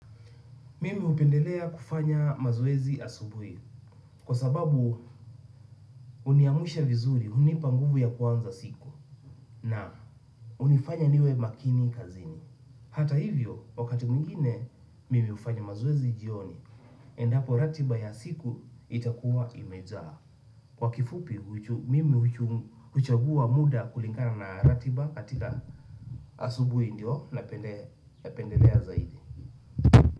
Mimi hupendelea kufanya mazoezi asubuhi kwa sababu uniamsha vizuri hunipa nguvu ya kwanza siku na unifanya niwe makini kazini. Hata hivyo wakati mwingine mimi hufanya mazoezi jioni endapo ratiba ya siku itakuwa imejaa. Kwa kifupi mimi huchagua muda kulingana na ratiba katika asubuhi ndiyo napendelea zaidi.